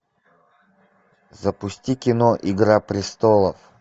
запусти кино игра престолов